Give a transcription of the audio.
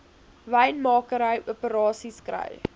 wynmakery operasies kry